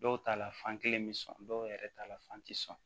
Dɔw ta la fan kelen bi sɔn dɔw yɛrɛ ta la fan ti sɔn